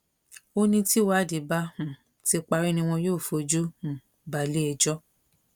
ó ní tìwádìí bá um ti parí ni wọn yóò fojú um balé-ẹjọ́